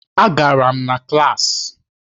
Agara m klaasị.